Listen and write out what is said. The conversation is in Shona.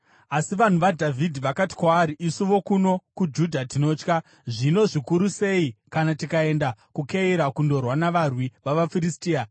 Asi vanhu vaDhavhidhi vakati kwaari, “Isu vokuno kuJudha tinotya. Zvino, zvikuru sei kana tikaenda kuKeira kundorwa navarwi vavaFiristia!”